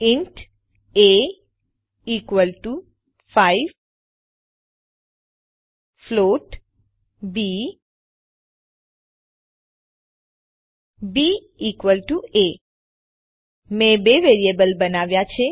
int a equal to five float b b equal to a મેં બે variable બનાવ્યા છે